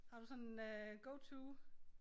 Har du sådan øh go to